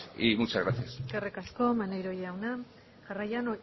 y muchas gracias eskerrik asko maneiro jauna jarraian